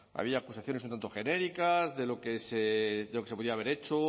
había acusaciones un tanto genéricas de lo que se podía haber hecho